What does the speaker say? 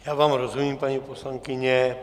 Já vám rozumím, paní poslankyně.